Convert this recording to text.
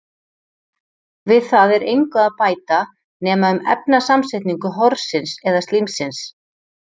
Við það er engu að bæta nema um efnasamsetningu horsins eða slímsins.